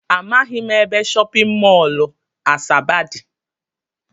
Amaghị m ebe shọpịn mọl Asaba dị